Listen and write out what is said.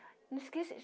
Eu não esqueço de